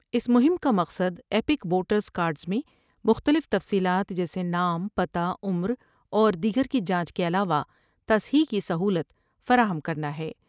اس مہم کا مقصدا پیک ووٹرس کارڈس میں مختلف تفصیلات جیسے نام پتہ عمراور دیگر کی جانچ کے علاوہ صیح کی سہولت فراہم کرنا ہے ۔